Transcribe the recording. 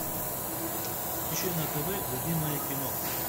ищи на тв любимое кино